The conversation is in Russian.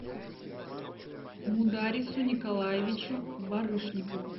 мударису николаевичу барышникову